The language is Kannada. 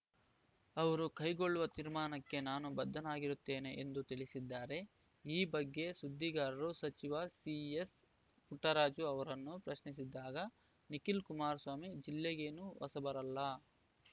ಅವರು ಕೈಗೊಳ್ಳುವ ತೀರ್ಮಾನಕ್ಕೆ ನಾನು ಬದ್ಧರಾಗಿರುತ್ತೇನೆ ಎಂದು ತಿಳಿಸಿದ್ದಾರೆ ಈ ಬಗ್ಗೆ ಸುದ್ದಿಗಾರರು ಸಚಿವ ಸಿಎಸ್‌ಪುಟ್ಟರಾಜು ಅವರನ್ನು ಪ್ರಶ್ನಿಸಿದಾಗ ನಿಖಿಲ್‌ ಕುಮಾರಸ್ವಾಮಿ ಜಿಲ್ಲೆಗೇನು ಹೊಸಬರಲ್ಲ